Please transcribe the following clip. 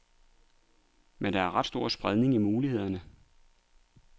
Men der er stor spredning i mulighederne.